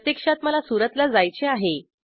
प्रत्यक्षात मला सुरतला जायचे आहे